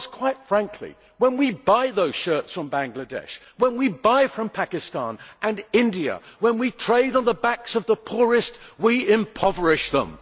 Because, quite frankly, when we buy those shirts from Bangladesh, when we buy from Pakistan and India, when we trade on the backs of the poorest, we impoverish them.